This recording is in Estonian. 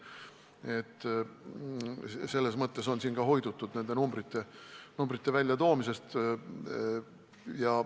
Nii et ka selles mõttes on siin hoidutud numbrite väljatoomisest.